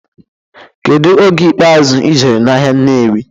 Kedu oge ikpeazụ ijere n'ahịa Nnewi?